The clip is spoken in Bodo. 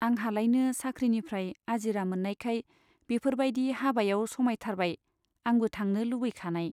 आंहालायनो साख्रिनिफ्राइ आजिरा मोन्नायखाय बेफोरबाइदि हाबायाव समायथारबाय आंबो थांनो लुबैखानाय।